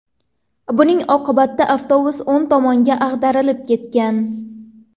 Buning oqibatda avtobus o‘ng tomonga ag‘darilib ketgan.